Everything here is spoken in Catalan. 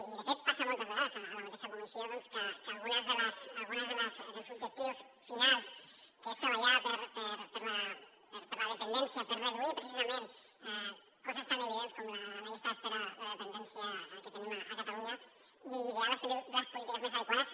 i de fet passa moltes vegades a la mateixa comissió doncs que alguns dels objectius finals com ara treballar per la dependència per reduir precisament coses tan evidents com la llista d’espera de dependència que tenim a catalunya i idear les polítiques més adequades